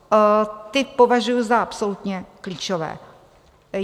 Ty považuji za absolutně klíčové.